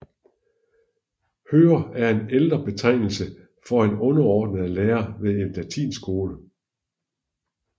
Hører er en ældre betegnelse for en underordnet lærer ved en latinskole